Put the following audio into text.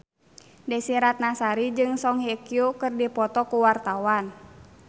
Desy Ratnasari jeung Song Hye Kyo keur dipoto ku wartawan